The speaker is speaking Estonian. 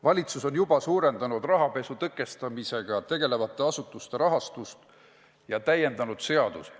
Valitsus on juba suurendanud rahapesu tõkestamisega tegelevate asutuste rahastust ja täiendanud seadusi.